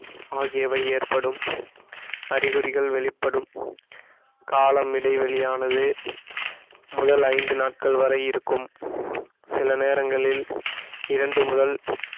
ஆகியவை ஏற்படும் அறிகுறிகள் வெளிப்படும் காலம் இடைவெளியானது முதல் ஐந்து நாட்கள் வரை இருக்கும் சில நேரங்களில் இரண்டு முதல்